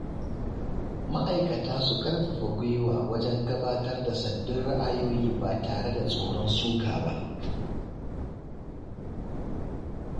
Ma’aikata su ƙarfafa gwiwa wajen gabatar da sabbin ra’ayoyi ba tare da tsoron suka ba.